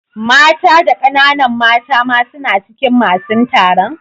Mata da kananan mata ma suna cikin masun taron?